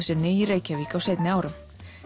sinni í Reykjavík á seinni árum